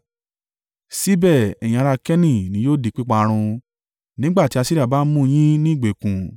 síbẹ̀ ẹ̀yin ará Keni ni yóò di píparun nígbà tí Asiria bá mú yín ní ìgbèkùn.”